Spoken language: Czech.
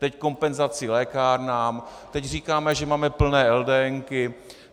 Teď kompenzace lékárnám, teď říkáme, že máme plné LDN.